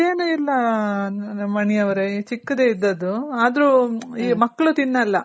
ದೊಡ್ಡದೇನು ಇಲ್ಲ ಮಣಿ ಅವ್ರೆ ಈ ಚಿಕ್ಕದೆ ಇದ್ದದ್ದು ಆದ್ರು ಈ ಮಕ್ಳು ತಿನ್ನಲ್ಲ ಅವರಿಬ್ರು ತಿನ್ನಲ್ಲ ಹಂಗಾಗಿ